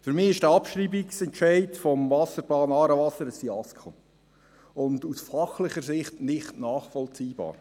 Für mich ist der Abschreibungsentscheid des Wasserplans «Aarewasser» ein Fiasko und aus fachlicher Sicht nicht nachvollziehbar.